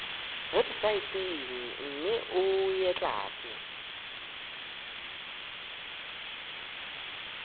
websaeteng mme o e tlatse